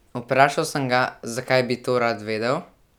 Vprašal sem ga , zakaj bi to rad vedel?